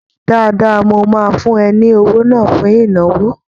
Dáadáa, mo máa fún ẹ ní owó náà fún ìnáwó